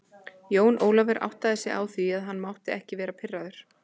Jón Ólafur áttaði sig á því að hann mátti ekki vera pirraður.